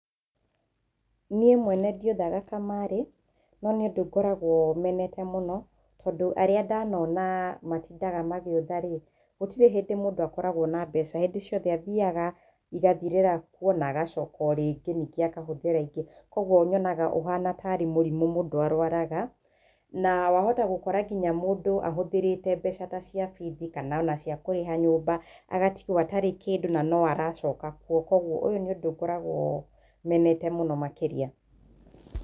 Nĩĩ mwene ndĩũthaga kamarĩ, no nĩ ũndũ ngoragwo menete mũno tondũ arĩa ndanona matindaga magĩũtha-ri, gũtirĩ hĩndĩ mũndũ akoragwo na mbeca, hĩndĩ ciothe athiyaga ĩgathirĩra kuo na agacoka ũrĩngĩ nĩngĩ akahũthĩra ĩngĩ. Koguo nyonaga ũhana tarĩ mũrimũ mũndũ arwaraga, na wahota gũkora nginya mũndũ ahũthĩrĩte mbeca ta cia bithi kana ona ciakũrĩha nyumba agatigwo atarĩ kĩndũ na no aracoka kuo. Koguo ũyũ nĩ ũndũ ngoragwo menete mũno makĩria.